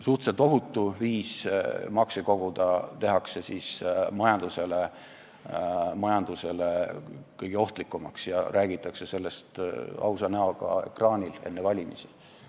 Suhteliselt ohutu viis makse koguda tehakse majandusele kõige ohtlikumaks ja räägitakse sellest ausa näoga ekraanil enne valimisi.